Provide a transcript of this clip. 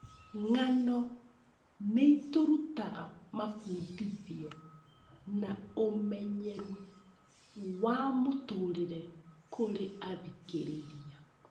Ng'ano nĩ irutaga mabundithio na ũmenyeru wa mũtũũrĩre kũrĩ athikĩrĩria.